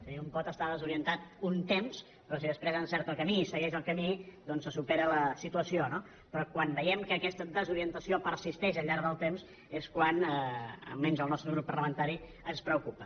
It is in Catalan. és a dir un pot estar desorientat un temps però si després encerta el camí i segueix el camí doncs se supera la situació no però quan veiem que aquesta desorientació persisteix al llarg del temps és quan almenys al nostre grup parlamentari ens preocupa